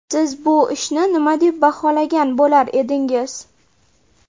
Siz bu ishni nima deb baholagan bo‘lar edingiz?